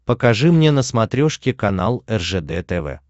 покажи мне на смотрешке канал ржд тв